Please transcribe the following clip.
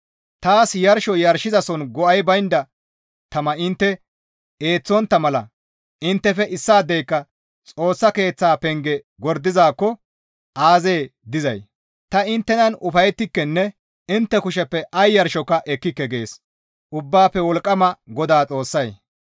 «Taas Yarsho yarshizason go7ay baynda tama intte eeththontta mala inttefe issaadeyka Xoossa Keeththa penge gordizaakko aazee dizay! Ta inttenan ufayettikenne intte kusheppe ay yarshoka ekkike» gees Ubbaafe Wolqqama GODAA Xoossay.